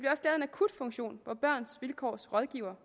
akutfunktion hvor børns vilkårs rådgivere